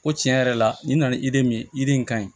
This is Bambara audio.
Ko tiɲɛ yɛrɛ la nin nana ye de min ye yiri in kaɲi